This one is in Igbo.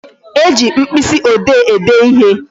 E ji mkpịsị ode ede ịhe